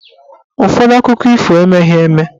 Ụfọdụ akụkọ ifo emeghị eme.